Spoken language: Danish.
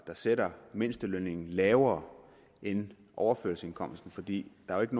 sætter mindstelønningen lavere end overførselsindkomsten fordi der jo ikke